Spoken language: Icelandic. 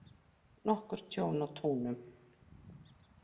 Nokkurt tjón á túnum